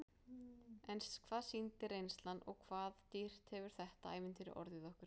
En hvað sýndi reynslan og hvað dýrt hefur þetta ævintýri orðið okkur?